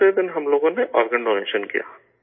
دوسرے دن ہم لوگوں نے آرگن ڈونیشن کیا